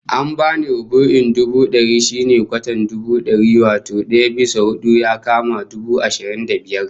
An bani rubu'in dubu dari, shine kwatan dubu dari, wato daya bisa hudu, ya kama dubu ashirin da biyar